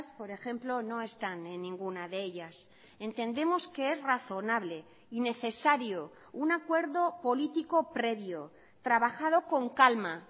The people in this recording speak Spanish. por ejemplo no están en ninguna de ellas entendemos que es razonable y necesario un acuerdo político previo trabajado con calma